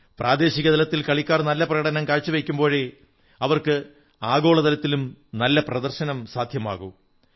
പ്രാദേശിക തലത്തിൽ കളിക്കാർ നല്ല പ്രകടനം കാഴ്ച വയ്ക്കുമ്പോഴേ അവർക്ക് ആഗോള തലത്തിലും നല്ല പ്രദർശനം സാധ്യമാകൂ